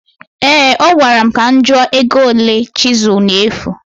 Ee, ọ gwara m ka m jụọ ego ole chịsel na-efu